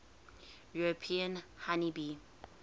european honey bee